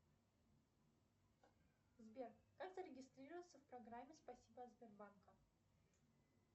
сбер как зарегистрироваться в программе спасибо от сбербанка